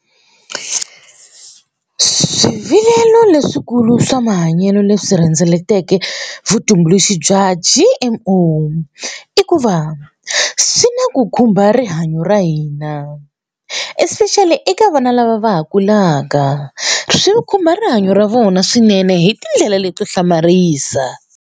Swivilelo leswikulu swa mahanyelo leswi rhendzeleke vutumbuluxi bya G_M_O i ku va swi na ku khumba rihanyo ra hina especially eka vana lava va ha kulaka swi khumba rihanyo ra vona swinene hi tindlela leto hlamarisa.